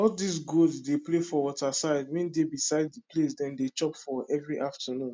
all dis goat dey play for waterside wey dey beside d place dem dey chop for everi afternoon